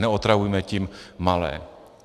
Neotravujme tím malé.